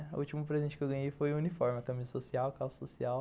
O último presente que eu ganhei foi o uniforme, a camisa social, calça social.